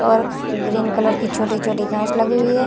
और green colour की छोटी-छोटी घास लगी हुई है ।